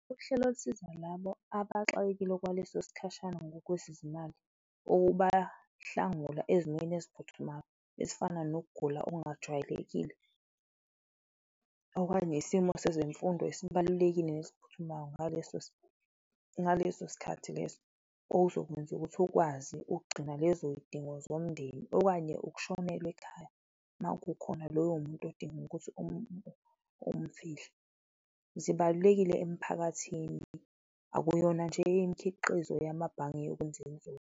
Uhlelo lusiza labo abaxakekile okwaleso sikhashana ngokwezezimali, ukubahlangula ezimeni eziphuthumayo ezifana nokugula okungajwayelekile okanye isimo sezemfundo esibalulekile nesiphuthumayo ngaleso sikhathi leso, okuzokwenza ukuthi ukwazi ukugcina lezo zidingo zomndeni okanye ukushonelwa ekhaya, ma kukhona loyo muntu odinga ukuthi umfihle, zibalulekile emphakathini, akuyona nje imikhiqizo yamabhange .